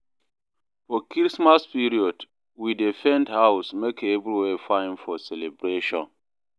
For Christmas period, we dey paint house make everywhere fine for celebration.